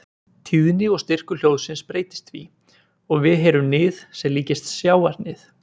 Tíðni og styrkur hljóðsins breytist því og við heyrum nið sem líkist sjávarnið.